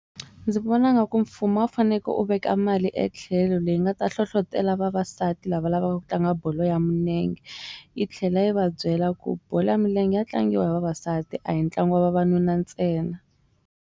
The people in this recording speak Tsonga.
Ndzi vona nga ku mfumo a wu fanekele u veka mali etlhelo leyi nga ta hlohlotelo vavasati lava lavaka ku tlanga bolo ya milenge yi tlhela yi va byela ku bolo ya milenge ya tlangiwa hi vavasati a hi ntlangu wa vavanuna ntsena.